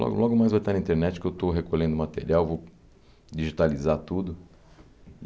Logo logo mais vai estar na internet que eu estou recolhendo o material, vou digitalizar tudo.